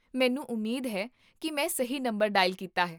ਮੈਨੂੰ ਉਮੀਦ ਹੈ ਕੀ ਮੈਂ ਸਹੀ ਨੰਬਰ ਡਾਇਲ ਕੀਤਾ ਹੈ